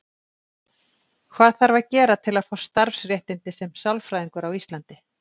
Hvað þarf að gera til að fá starfsréttindi sem sálfræðingur á Íslandi?